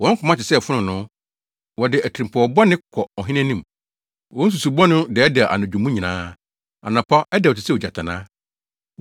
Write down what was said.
Wɔn koma te sɛ fononoo; wɔde atirimpɔw bɔne kɔ ɔhene anim. Wɔn nsusuwii bɔne no dɛɛdɛɛ anadwo mu nyinaa; anɔpa, ɛdɛw te sɛ ogyatannaa.